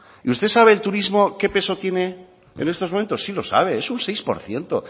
y usted sabe el turismo qué peso tiene en estos momentos sí lo sabe es un seis por ciento